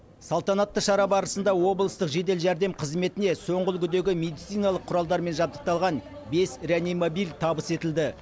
салтанатты шара барысында облыстық жедел жәрдем қызметіне соңғы үлгідегі медициналық құралдармен жабдықталған бес реанимобиль табыс етілді